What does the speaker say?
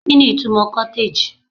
kini itumo cottage